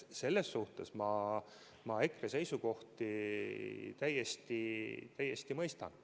Selles suhtes ma EKRE seisukohti täiesti mõistan.